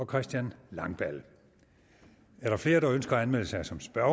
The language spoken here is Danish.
christian langballe er der flere der ønsker at melde sig som spørger